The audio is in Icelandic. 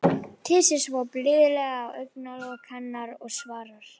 Kyssir svo blíðlega á augnalok hennar og svarar: